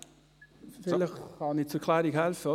Vielleicht kann ich bei der Klärung helfen.